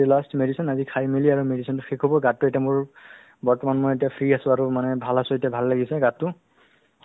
হয় so আমি সেইটো সময়লৈকে মই প্ৰায় এবছৰমান অ ultimately ক'ব গ'লে না স্বাস্থ্যৰ লগতে জৰিত আছো বুলি ক'লে হ'ল